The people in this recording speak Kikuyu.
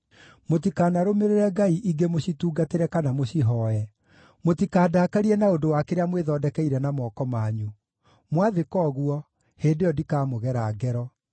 Mũtikanarũmĩrĩre ngai ingĩ mũcitungatĩre kana mũcihooe; mũtikandakarie na ũndũ wa kĩrĩa mwĩthondekeire na moko manyu. Mwathĩka ũguo, hĩndĩ ĩyo ndikamũgera ngero.”